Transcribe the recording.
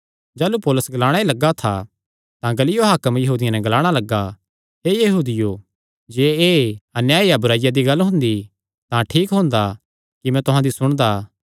जाह़लू पौलुस ग्लाणा लग्गा ई था तां गल्लियो हाकम यहूदियां नैं ग्लाणा लग्गा हे यहूदियो जे एह़ अन्याय या बुराईया दी गल्ल हुंदी तां ठीक हुंदा कि मैं तुहां दी सुणदा